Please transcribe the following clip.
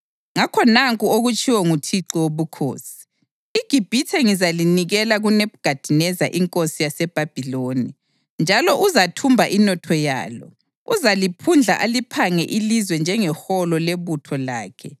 Ngakho nanku okutshiwo nguThixo Wobukhosi: IGibhithe ngizalinikela kuNebhukhadineza inkosi yaseBhabhiloni, njalo uzathumba inotho yalo. Uzaliphundla aliphange ilizwe njengeholo lebutho lakhe.